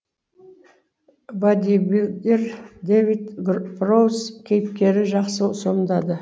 бодибилдер дэвид проуз кейіпкері жақсы сомдады